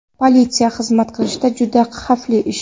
Politsiyada xizmat qilish juda xavfli ish.